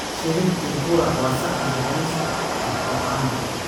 Shrimp Tempura waa saxan Japanese ah oo caan ah.